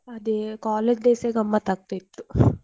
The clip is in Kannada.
ಅದೇ college days ಯೆ ಗಮ್ಮತ್ ಆಗ್ತಾ ಇತ್ತು.